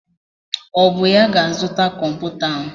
Ọ bụ ya ga-azụta kọmputa ahụ?